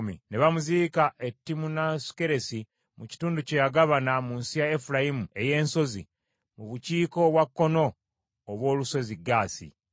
Ne bamuziika e Timunasukeresi mu kitundu kye yagabana mu nsi ya Efulayimu ey’ensozi mu bukiika obwa kkono obw’olusozi Gaasi.